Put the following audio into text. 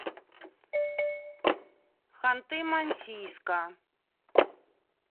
ханты мансийска